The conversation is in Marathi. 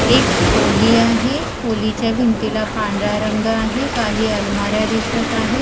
एक खोली आहे खोलीच्या भिंतीला पांढरा रंग आहे काही अलमाऱ्या दिसत आहे.